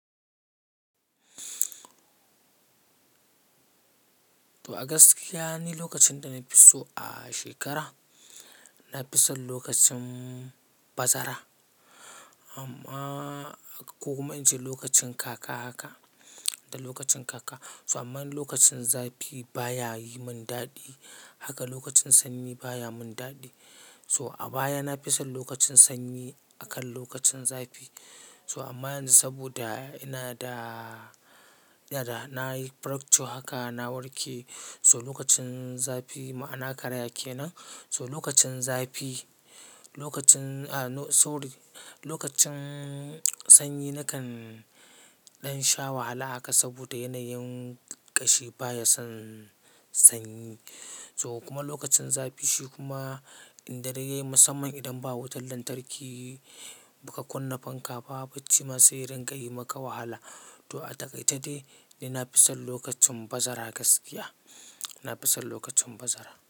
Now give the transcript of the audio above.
To Agaskiya ni lokacin da na fi so a shekara. Na fi son lokacin bazara amma ko kuma in ce lokacin kaka haka. Da lokacin kaka. So amman lokacin zafi baya yi mun dadi. Haka lokacin sanyi baya mun dadi. So a baya na fi son lokacin sanyi akan lokacin zafi. So amma yanzu saboda ina da, ina da nayi fracture haka na warke. So lokacin zafi ma'ana karaye kenan. So lokacin zafi, lokacin a no-- sorry, lokacin sanyi nakan ɗan sha wahala haka saboda yanayin ƙashi baya son sanyi. So kuma lokacin zafi shi kuma idan dare yayi musamman idan ba wutar lantarki, muka kunna fanka ba, bacci ma sai ringa yi maka wahala. To a takaice dai, ni na fi son lokacin bazara gaskiya. Na fi son lokacin bazara.